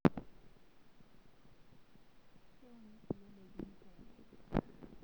Keuni kulie daikin pemiri